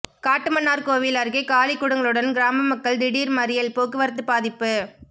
காட்டுமன்னார்கோவில் அருகே காலி குடங்களுடன் கிராமமக்கள் திடீர் மறியல் போக்குவரத்து பாதிப்பு